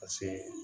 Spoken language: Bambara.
Paseke